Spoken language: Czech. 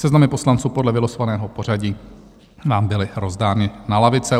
Seznamy poslanců podle vylosovaného pořadí nám byly rozdány na lavice.